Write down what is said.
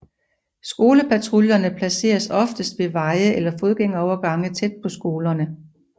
Skolepatruljerne placeres oftest ved veje eller fodgængerovergange tæt på skolerne